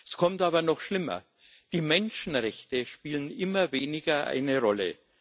Es kommt aber noch schlimmer Die Menschenrechte spielen immer weniger eine Rolle.